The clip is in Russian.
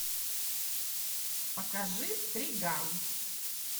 покажи триган